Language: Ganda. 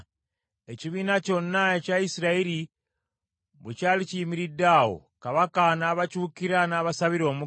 Ekibiina kyonna ekya Isirayiri bwe kyali kiyimiridde awo, kabaka n’abakyukira n’abasabira omukisa.